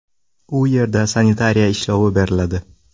U yerda sanitariya ishlovi beriladi.